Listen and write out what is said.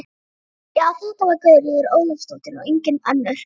Já, þetta var Guðríður Ólafsdóttir og engin önnur!